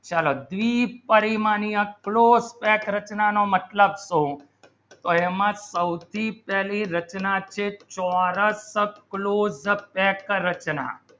ચલો બી પરિમાણીયા close રચના ના મતલબ કહું તેમાં ચૌથી પેહલી રચના છે ત્યારે closeup રચના